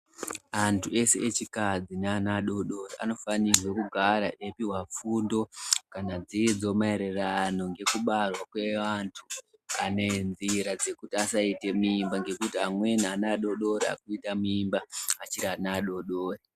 Antu ese echikadzi ne ana adodori ano fanirwe kugara eyi puhwa fundo kana dzidzo maererano ngeku barwa kwe vantu kana nzira dzekuti asaite mimba ngekuti amweni ana adodori arikuita mimba achiri ana adodori.